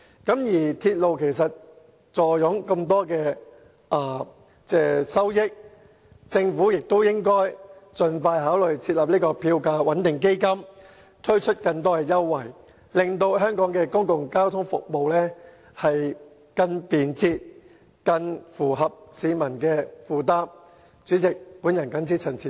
港鐵公司坐擁龐大收益，政府應該盡快考慮成立票價穩定基金，並推出更多優惠，令香港的公共交通服務更便捷及更符合市民的負擔能力。